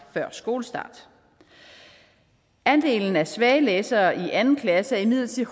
før skolestart andelen af svage læsere i anden klasse er imidlertid